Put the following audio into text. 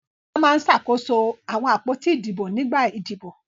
Bọ́lá máa ń ṣàkóso àwọn àpótí ìbò nígbà ìdìbò.